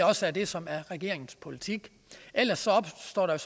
også er det som er regeringens politik ellers opstår der